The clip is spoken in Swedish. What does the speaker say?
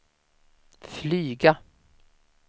flyga